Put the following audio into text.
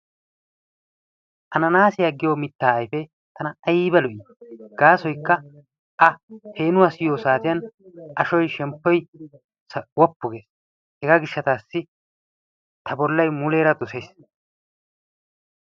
ananaasiya giyo mitaa ayfee tana aybba lo'ii? gaasoykka a peenuwa siyiyo saatiyan ashoy shemppoykka woppu gees, hegaa gishataassi ta bolay muleera dosees.